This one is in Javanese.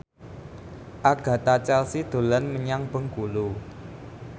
Agatha Chelsea dolan menyang Bengkulu